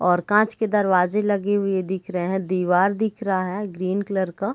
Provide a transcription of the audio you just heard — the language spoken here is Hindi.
और कांच के दरवाजे लगे हुए दिख रहे है दिवाल दिख रहा है ग्रीन कलर का।